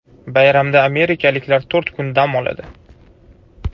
Bayramda amerikaliklar to‘rt kun dam oladi.